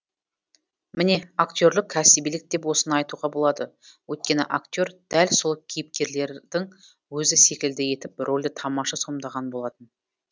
міне актерлық кәсібилік деп осыны айтуға болады өйткені актер дәл сол кейіпкерлердің өзі секілді етіп рөлді тамаша сомдаған болатын